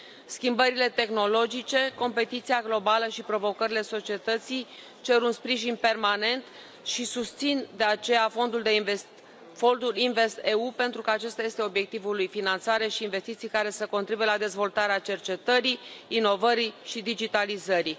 Schimbările tehnologice, competiția globală și provocările societății cer un sprijin permanent și susțin, de aceea, Fondul InvestEU, pentru că acesta este obiectivul lui finanțare și investiții care să contribuie la dezvoltarea cercetării, inovării și digitalizării.